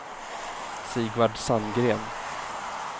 Sigvard Sandgren